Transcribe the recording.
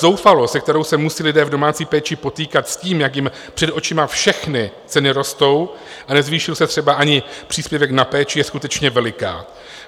Zoufalost, se kterou se musí lidé v domácí péči potýkat s tím, jak jim před očima všechny ceny rostou, a nezvýšil se třeba ani příspěvek na péči, je skutečně veliká.